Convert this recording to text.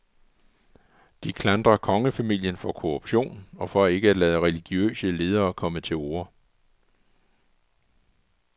De klandrer kongefamilien for korruption og for ikke at lade religiøse ledere komme til orde.